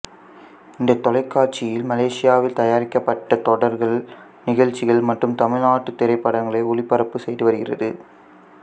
இந்த தொலைக்காட்சியில் மலேசியாவில் தயாரிக்கப்பட்ட தொடர்கள் நிகழ்ச்சிகள் மற்றும் தமிழ்நாட்டு திரைப்படங்களை ஒளிபரப்பு செய்து வருகிறது